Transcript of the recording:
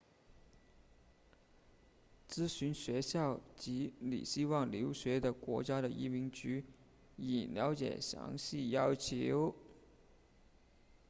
咨询学校及你希望留学的国家的移民局以了解详细要求